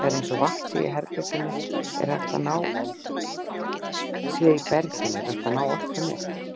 Því aðeins að vatn sé í berginu er hægt að ná orkunni upp.